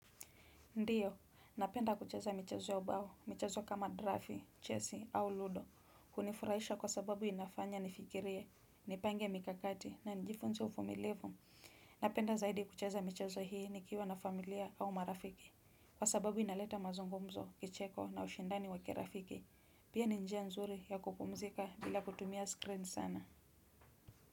Ndiyo, napenda kucheza michezo ya ubao, michazo kama drafi, chesi au ludo, hunifurahisha kwa sababu inafanya nifikirie, nipange mikakati na nijifunze uvumilivu. Napenda zaidi kucheza michezo hii nikiwa na familia au marafiki kwa sababu inaleta mazungumzo kicheko na ushindani wa kirafiki pia ni njia nzuri ya kupumzika bila kutumia screen sana.